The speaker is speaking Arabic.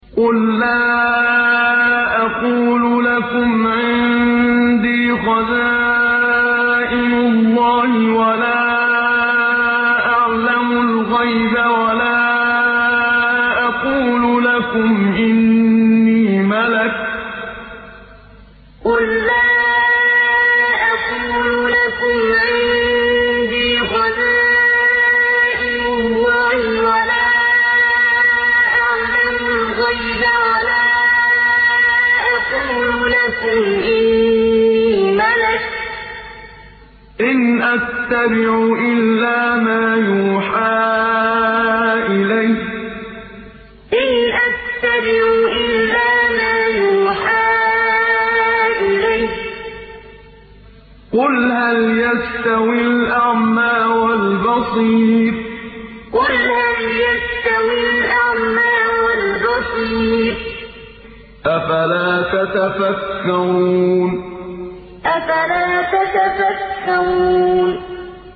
قُل لَّا أَقُولُ لَكُمْ عِندِي خَزَائِنُ اللَّهِ وَلَا أَعْلَمُ الْغَيْبَ وَلَا أَقُولُ لَكُمْ إِنِّي مَلَكٌ ۖ إِنْ أَتَّبِعُ إِلَّا مَا يُوحَىٰ إِلَيَّ ۚ قُلْ هَلْ يَسْتَوِي الْأَعْمَىٰ وَالْبَصِيرُ ۚ أَفَلَا تَتَفَكَّرُونَ قُل لَّا أَقُولُ لَكُمْ عِندِي خَزَائِنُ اللَّهِ وَلَا أَعْلَمُ الْغَيْبَ وَلَا أَقُولُ لَكُمْ إِنِّي مَلَكٌ ۖ إِنْ أَتَّبِعُ إِلَّا مَا يُوحَىٰ إِلَيَّ ۚ قُلْ هَلْ يَسْتَوِي الْأَعْمَىٰ وَالْبَصِيرُ ۚ أَفَلَا تَتَفَكَّرُونَ